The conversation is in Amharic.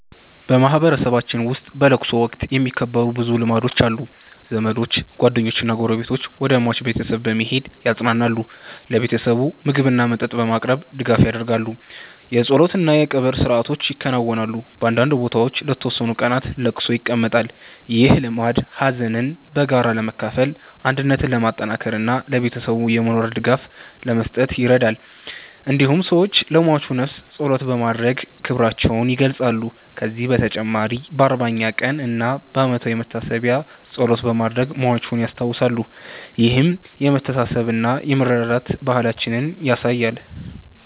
በማህበረሰባችን ውስጥ በለቅሶ ወቅት የሚከበሩ ብዙ ልማዶች አሉ። ዘመዶች፣ ጓደኞችና ጎረቤቶች ወደ ሟች ቤተሰብ በመሄድ ያጽናናሉ። ለቤተሰቡ ምግብና መጠጥ በማቅረብ ድጋፍ ያደርጋሉ። የጸሎት እና የቀብር ሥርዓቶች ይከናወናሉ። በአንዳንድ ቦታዎች ለተወሰኑ ቀናት ለቅሶ ይቀመጣል። ይህ ልማድ ሀዘንን በጋራ ለመካፈል፣ አንድነትን ለማጠናከር እና ለቤተሰቡ የሞራል ድጋፍ ለመስጠት ይረዳል። እንዲሁም ሰዎች ለሟቹ ነፍስ ጸሎት በማድረግ ክብራቸውን ይገልጻሉ። ከዚህ በተጨማሪ በ40ኛ ቀን እና በዓመታዊ መታሰቢያ ጸሎት በማድረግ ሟቹን ያስታውሳሉ። ይህም የመተሳሰብና የመረዳዳት ባህላችንን ያሳያል።